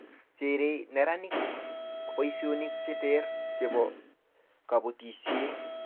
cherei neranik kuchut boisionik che ter chebo kabotisie